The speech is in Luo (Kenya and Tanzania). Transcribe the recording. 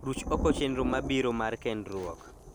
Ruch oko chenro mabiro mar kendruok